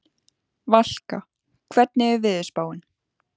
Valka, hvernig er veðurspáin?